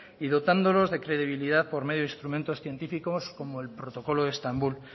y dotándolos de credibilidad por medio de instrumentos científicos como el protocolo de estambul